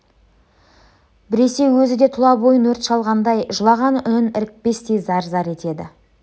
біресе өзі де тұла бойын өрт шалғандай жылаған үнін ірікпестен зар-зар етеді